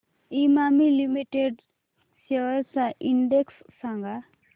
Emami limited shares चा index सांगा